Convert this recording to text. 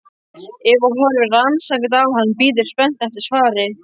Eva horfir rannsakandi á hann, bíður spennt eftir svari.